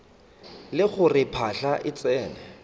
le gore phahla e tsene